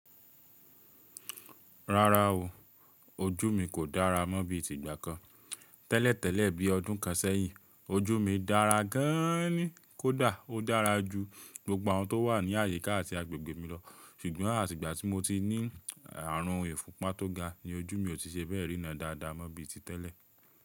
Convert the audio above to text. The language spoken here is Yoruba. Rárá o, ojú mi kò dára mọ́ bí i tigbá kan. Tẹ́lẹ̀tẹ́lẹ̀ bí i ọdún kan sẹ́yìn, ojú mi dára gan-an ni kódà ó dára ju gbogbo àwọn tó wà ní àyíká àti agbègbè mi lọ. Ṣùgbọ́n àtìgbà tí mo ti ní ààrùn ìfúnpá tó ga ni ojú mi ò ti ṣe bẹ́ẹ̀ ríná dáadáa mọ́ bí i ti tẹ́lẹ̀.